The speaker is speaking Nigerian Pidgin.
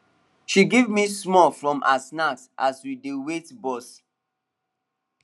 she give me small from her snack as we dey wait bus